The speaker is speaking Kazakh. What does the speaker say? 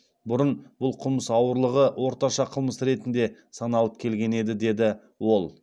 бұрын бұл қылмыс ауырлығы орташа қылмыс ретінде саналып келген еді деді ол